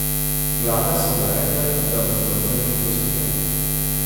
Glave so mu rekle, da mu za prvič oprostijo.